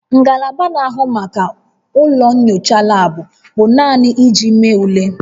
Ngalaba na-ahụ maka ụlọ nyocha laabụ bụ naanị iji mee ule